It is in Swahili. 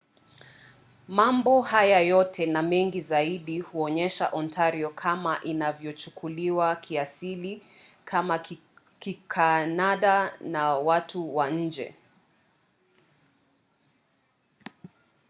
mambo haya yote na mengi zaidi huonyesha ontario kama inavyochukuliwa kiasili kama kikanada na watu wa nje